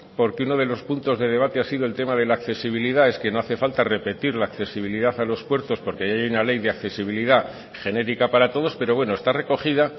porque uno de los puntos de debate ha sido el tema de la accesibilidad es que no hace falta repetir la accesibilidad a los puertos porque ya hay una ley de accesibilidad genérica para todos pero bueno está recogida